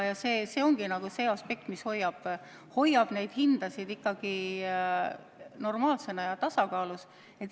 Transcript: Ja see ongi aspekt, mis hoiab hindasid normaalsena ja tasakaalus.